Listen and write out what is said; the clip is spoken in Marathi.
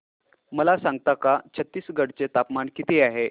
मला सांगता का छत्तीसगढ चे तापमान किती आहे